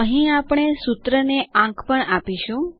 અહીં આપણે સૂત્રને આંક પણ આપીશું